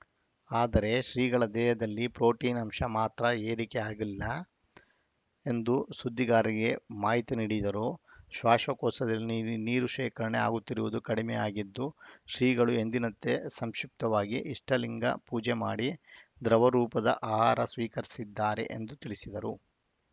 ಆದರೆ ಶ್ರೀಗಳ ದೇಹದಲ್ಲಿ ಪ್ರೊಟೀನ್‌ ಅಂಶಮಾತ್ರ ಏರಿಕೆ ಆಗಲಿಲ್ಲ ಎಂದು ಸುದ್ದಿಗಾರರಿಗೆ ಮಾಹಿತಿ ನೀಡಿದರು ಶ್ವಾಸಕೋಶದಲ್ಲಿ ನೀ ನೀರು ಶೇಖರಣೆ ಆಗುತ್ತಿರುವುದು ಕಡಿಮೆಯಾಗಿದ್ದು ಶ್ರೀಗಳು ಎಂದಿನಂತೆ ಸಂಕ್ಷಿಪ್ತವಾಗಿ ಇಷ್ಟಲಿಂಗ ಪೂಜೆ ಮಾಡಿ ದ್ರವ ರೂಪದ ಆಹಾರ ಸ್ವೀಕರಿಸಿದ್ದಾರೆ ಎಂದು ತಿಳಿಸಿದರು